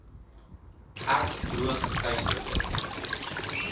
erg droog geteisterde